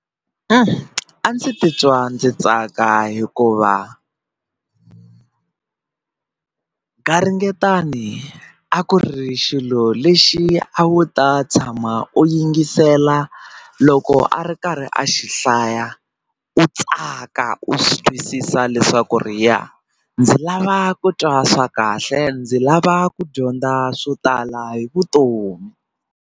A a ndzi titwa ndzi tsaka hikuva garingetani a ku ri xilo lexi a wu ta tshama u yingisela loko a ri karhi a xi hlaya u tsaka u swi twisisa leswaku ri ya ndzi lava ku twa swa kahle ndzi lava ku dyondza swo tala hi vutomi.